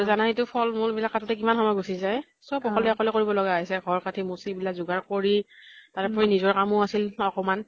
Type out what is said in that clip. আৰু জানাইতো ফল মূল বিলাক কাটোতে কিমান সময় গুছি যায়, চব অকলে অকলে কৰিম লগা হৈছে। ঘৰ সাজি মোচি এইবিলাক জোগাৰ কৰি তাৰে ওপৰি নিজৰ কামো আছিল অকমান